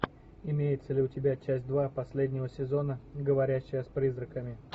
имеется ли у тебя часть два последнего сезона говорящая с призраками